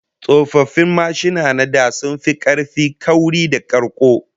Old motorcycles were built much sturdier and more durable than present